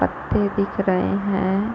पत्ते दिख रहे है ।